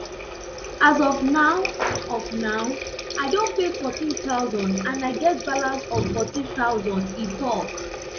as of now of now i don pay fourteen thousand and i get balance of fourteen thousand e tok